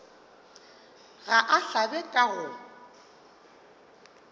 ga a hlabe ka go